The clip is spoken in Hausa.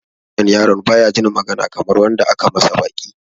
Wannan yaron baya jin magana Kamar wanda aka masa baki.